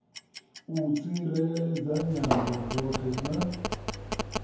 u tsireledza nyambo dzoṱhe na